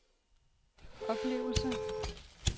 oplevelse